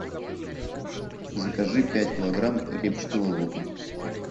закажи пять килограмм репчатого лука